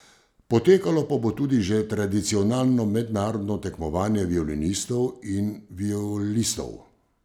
Potekalo pa bo tudi že tradicionalno mednarodno tekmovanje violinistov in violistov.